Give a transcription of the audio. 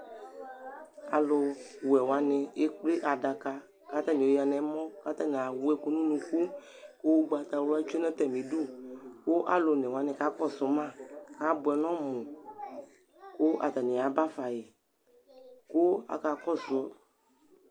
alu wɛ wʋani ekple adaka kata ni oyadu nɛmɔ , k'ata ni ewu ɛku nunuku, ku ugbata wla tsʋe nu ata mi du , ku alu one wʋani kakɔsu ma abʋɛ n'ɔmu , ku ata ni ya ba fa yi , ku aka kɔsu